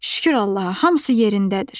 Şükür Allaha, hamısı yerindədir!